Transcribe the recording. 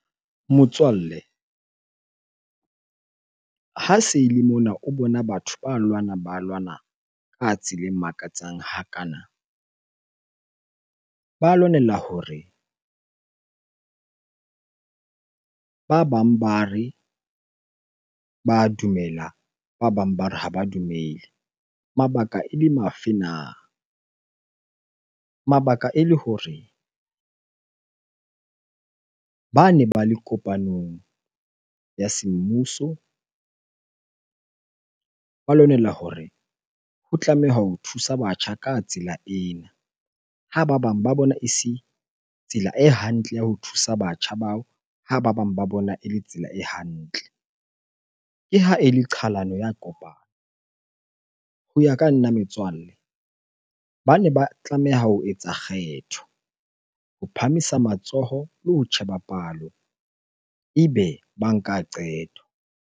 Motswalle, ha se ele mona o bona batho ba lwana, ba lwana ka tsela e makatsang hakana. Ba lwanela hore ba bang ba re, ba dumela ba bang ba re, ha ba dumele. Mabaka e le mafe na? Mabaka ele hore bane ba le kopanong ya semmuso ba lwanela hore ho tlameha ho thusa batjha ka tsela ena, ha ba bang ba bona e se tsela e hantle ya ho thusa batjha bao, ha ba bang ba bona ele tsela e hantle. Ke ha ele qhalano ya kopano. Ho ya ka nna metswalle, bane ba tlameha ho etsa kgetho ho phahamisa matsoho le ho tjheba palo ebe ba nka qeto.